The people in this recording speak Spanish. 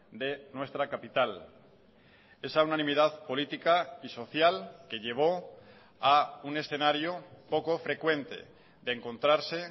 de nuestra capital esa unanimidad política y social que llevó a un escenario poco frecuente de encontrarse